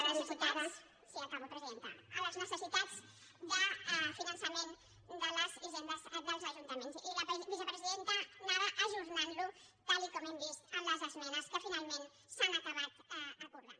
sí acabo presidenta les necessitats de finança·ment de les hisendes dels ajuntaments i la vicepre·sidenta anava ajornant·ho tal com hem vist en les esmenes que finalment s’han acabat acordant